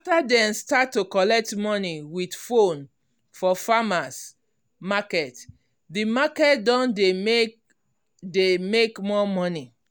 tell dem start to collect money with phone for farmers marketthe market don dey make dey make more money